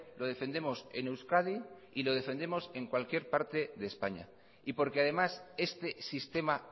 lo defendemos en euskadi y lo defendemos en cualquier parte de españa y porque además este sistema